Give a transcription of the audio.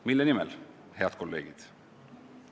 Mille nimel, head kolleegid?